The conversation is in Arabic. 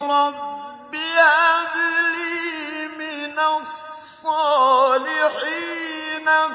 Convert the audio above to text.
رَبِّ هَبْ لِي مِنَ الصَّالِحِينَ